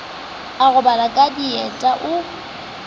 a robale ka dieta o